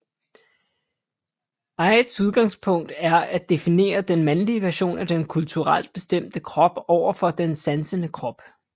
Ihdes udgangspunkt er at definere den mandlige version af den kulturelt bestemte krop over for den sansende krop